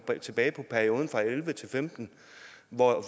tilbage på perioden og elleve til femten hvor